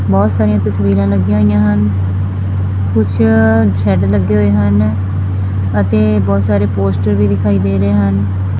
ਬਹੁਤ ਸਾਰੀਆਂ ਤਸਵੀਰਾਂ ਲੱਗੀਆਂ ਹੋਈਆਂ ਹਨ ਕੁਝ ਸੈਡ ਲੱਗੇ ਹੋਏ ਹਨ ਅਤੇ ਬਹੁਤ ਸਾਰੇ ਪੋਸਟਰ ਵੀ ਦਿਖਾਈ ਦੇ ਰਹੇ ਹਨ।